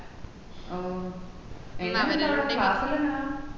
ഓഹ് എങ്ങനെണ്ട് അവടെ class എല്ലം എങ്ങനാ